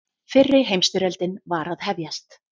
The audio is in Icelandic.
Fyrri heimsstyrjöldin var að hefjast.